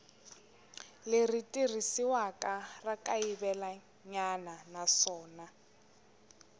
leri tirhisiwaka ra kayivelanyana naswona